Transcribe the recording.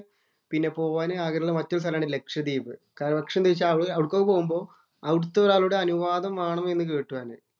പിന്നെ പോകാൻ ആഗ്രഹമുള്ള മറ്റൊരു സ്ഥലമാണ് ലക്ഷദ്വീപ്. കാരണം എന്തെന്ന് വച്ചാല്‍ അവിടേക്ക് പോവുമ്പോ അവിടത്തെ ഒരാളുടെ അനുവാദം വേണം എന്ന് കേട്ടു അതിന്.